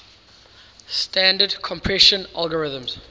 standard compression algorithms